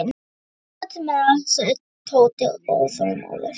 Svona, út með það, sagði Tóti óþolinmóður.